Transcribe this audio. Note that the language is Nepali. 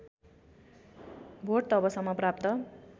भोट तबसम्म प्राप्त